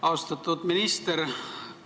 Austatud minister!